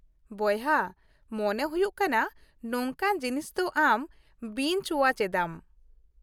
ᱵᱚᱭᱦᱟ, ᱢᱚᱱᱮ ᱦᱩᱭᱩᱜ ᱠᱟᱱᱟ ᱱᱚᱝᱠᱟᱱ ᱡᱤᱱᱤᱥ ᱫᱚ ᱟᱢ ᱵᱤᱧᱪ ᱳᱣᱟᱪ ᱮᱫᱟᱢ ᱾